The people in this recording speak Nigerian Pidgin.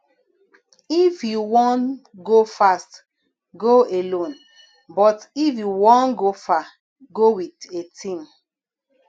if you wan go fast go alone but if you wan go far go with a team